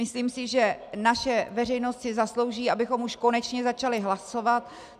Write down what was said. Myslím si, že naše veřejnost si zaslouží, abychom už konečně začali hlasovat.